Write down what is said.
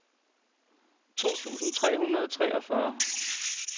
to tusind tre hundrede og treogfyrre